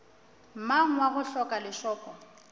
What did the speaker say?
mang wa go hloka lešoko